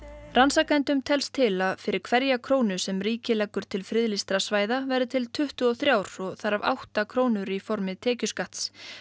rannsakendum telst til að fyrir hverja krónu sem ríkið leggur til friðlýstra svæða verði til tuttugu og þrjú þar af átta krónur í formi tekjuskatts